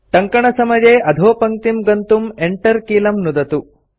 टङ्कणसमये अधोपङ्क्तिं गन्तुं Enter कीलं नुदतु